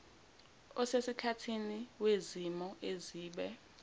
osesikhathini wezimo ezibe